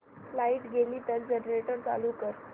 light गेली तर generator चालू कर